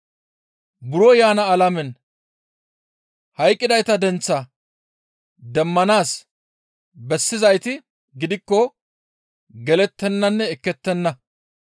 Buro yaana alamen hayqqidayta denththaa demmanaas bessizayti gidikko gelettenanne ekkettenna.